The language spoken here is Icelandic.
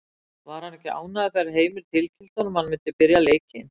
Var hann ekki ánægður þegar Heimir tilkynnti honum að hann myndi byrja leikinn?